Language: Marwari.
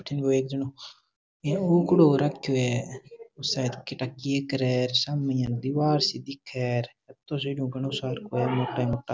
अठे एक जनो उकडू हो रखो है शायद के ठा के करे सामने एक दिवार सी दिखे है घणो सरो मोटा मोटा।